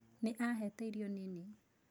Nĩ ahete irio nini.